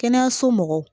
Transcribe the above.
Kɛnɛyaso mɔgɔw